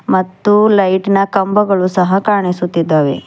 ಮತ್ತು ಲೈಟ್ ನ ಕಂಬಗಳು ಸಹ ಕಾಣಿಸುತಿದ್ದಾವೆ.